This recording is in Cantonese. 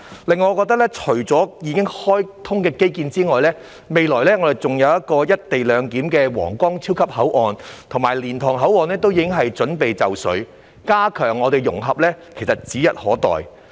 此外，除了已經開通的基建外，未來還有"一地兩檢"的皇崗超級口岸，而且蓮塘口岸亦已準備就緒，加強融合是指日可待。